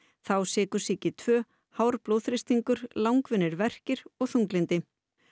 þá sykursýki tvö hár blóðþrýstingur langvinnir verkir og þunglyndi